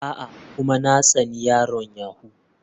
A'a, kuma na tsani yaron yahoo.